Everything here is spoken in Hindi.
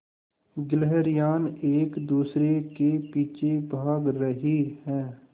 गिल्हरियान एक दूसरे के पीछे भाग रहीं है